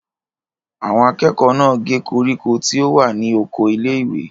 Àwọn akẹ́kọ̀ọ́ náà gé koríko tí ó wà ní oko ilé-ìwé?